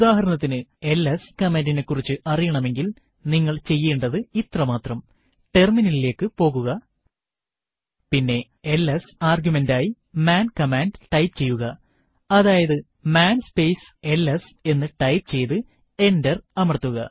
ഉദാഹരണത്തിനു എൽഎസ് കമാൻഡിനെ കുറിച്ച് അറിയണമെങ്കിൽ നിങ്ങൾ ചെയ്യേണ്ടുന്നത് ഇത്ര മാത്രം ടെർമിനലിലേക്ക് പോകുക പിന്നെ എൽഎസ് ആർഗ്യുമെന്റായി മാൻ കമാൻഡ് ടൈപ്പ് ചെയ്യുകഅതായതു മാൻ സ്പേസ് എൽഎസ് എന്ന് ടൈപ്പ് ചെയ്തു എന്റർ അമർത്തുക